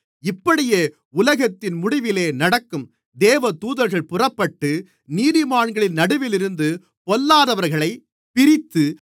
இப்படியே உலகத்தின் முடிவிலே நடக்கும் தேவதூதர்கள் புறப்பட்டு நீதிமான்களின் நடுவிலிருந்து பொல்லாதவர்களைப் பிரித்து